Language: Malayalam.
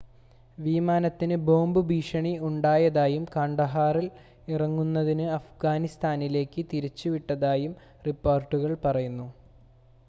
വിമാനത്തിന് ബോംബ് ഭീഷണി ഉണ്ടായതായും കാണ്ഡഹാറിൽ ഇറങ്ങുന്നതിന് അഫ്ഗാനിസ്ഥാനിലേക്ക് തിരിച്ചുവിട്ടതായും റിപ്പോർട്ടുകൾ പറയുന്നു